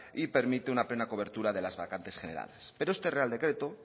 y permite una plena cobertura de las vacantes generadas pero este real decreto